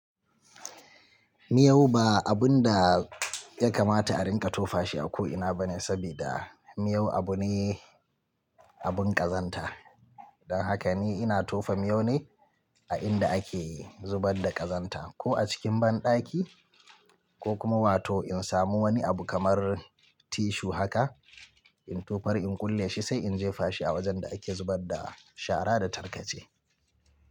Miyau ba abun da ya kamata a rinƙa tofa shi a ko ina bane, saboda miyau abu ne, abun ƙazanta. Don haka ni ina tofa miyau ne a inda ake zubar da ƙazanta, ko a cikin banɗaki ko kuma wato in samu wani abu kamar tissue haka, in tofa in kulle shi sai in jefa shi a wajen da ake zubar da shara da tarkace.